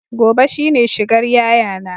Gobe shine shigar yayana